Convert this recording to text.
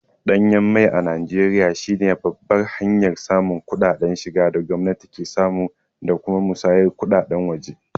Danyen mai a Najeriya shi ne babban hanyar samun kuɗaɗen shiga da gwamnati ke samu da kuma musayar kuɗaɗen waje.